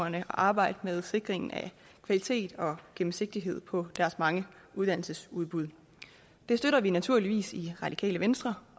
at arbejde med sikring af kvalitet og gennemsigtighed på deres mange uddannelsesudbud det støtter vi naturligvis i det radikale venstre